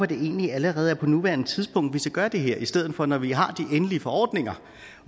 det egentlig allerede på nuværende tidspunkt at vi skal gøre det her i stedet for når vi har de endelige forordninger